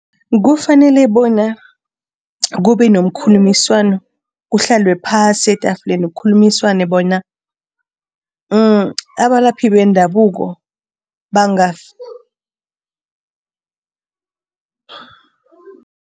Kufanele bona kube nomkhulumiswano, kuhlalwe phasi etafuleni kukhulumiswane bona abalaphi bendabuko